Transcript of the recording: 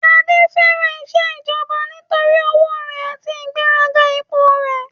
Adé fẹ́ràn isẹ́ ìjọba nítorí owó rẹ̀ àti ìgbéga ipò rẹ̀